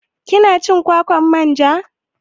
Kina cin kwakwar manja?